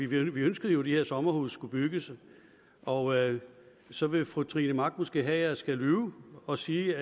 vi ønskede jo at de her sommerhuse skulle bygges og så vil fru trine mach måske have at jeg skal lyve og sige